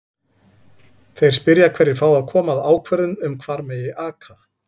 Þeir spyrja hverjir fái að koma að ákvörðun um hvar megi aka?